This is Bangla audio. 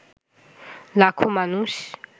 লাখো মানুষ